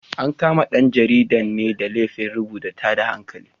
An kama ɗan jaridan ne da laifin rubuta tada hankali.